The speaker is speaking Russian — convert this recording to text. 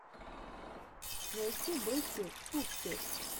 найти бэтти пуппет